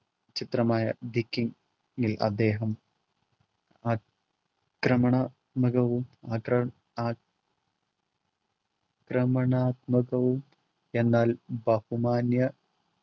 ചിത്രമായ the king ൽ അദ്ദേഹം ആ ക്രമണ മുഖവും അക് അ ക്രമണാത്മകവും എന്നാൽ ബഹുമാന്യ